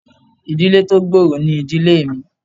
Ìdílé tó gbòòrò ni ìdílé mi